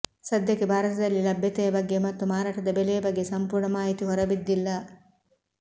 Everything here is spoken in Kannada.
ಸದ್ಯಕ್ಕೆ ಭಾರತದಲ್ಲಿ ಲಭ್ಯತೆಯ ಬಗ್ಗೆ ಮತ್ತು ಮಾರಾಟದ ಬೆಲೆಯ ಬಗ್ಗೆ ಸಂಪೂರ್ಣ ಮಾಹಿತಿ ಹೊರಬಿದ್ದಿಲ್ಲ